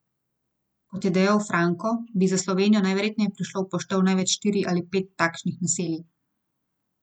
Kot je dejal Franko, bi za Slovenijo najverjetneje prišlo v poštev največ štiri ali pet takšnih naselij.